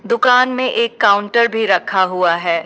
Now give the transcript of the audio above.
दुकान में एक काउंटर भी रखा हुआ है।